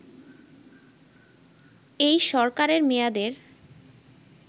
এই সরকারের মেয়াদের